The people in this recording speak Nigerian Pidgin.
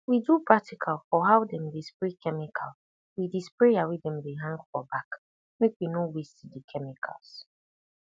we do practical for how dem dey spray chemical wit di sprayer wey dem dey hang for back make we no waste di chemicals